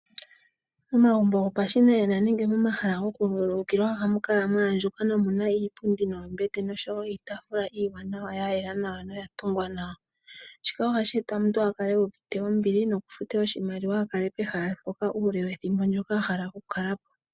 Momagumbo gopashinanena nenge momahala goku vululukila ohamu kala mwaandjuka nawa nomuna iipundi, noombete noshowo iitaafula iiwanawa, yela nawa noya tungwa nawa, shika ohashi eta opo omuntu a kale uuvite ombili nokufuta oshimaliwa a kale pehala mpoka uule wethimbo ndoka a hala oku kala po.